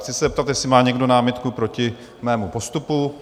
Chci se zeptat, jestli má někdo námitku proti mému postupu?